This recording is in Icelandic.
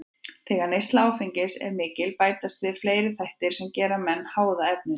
Þegar neysla áfengis er mikil bætast við fleiri þættir sem gera menn háða efninu.